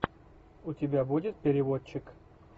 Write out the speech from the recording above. у тебя будет переводчик